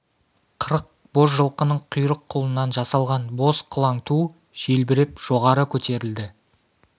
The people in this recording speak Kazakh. қырық боз жылқының құйрық қылынан жасалған боз қылаң ту желбіреп жоғары көтерілді